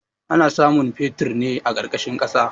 Ana samun fetir ne a ƙarƙashin ƙasa.